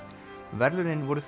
verðlaunin voru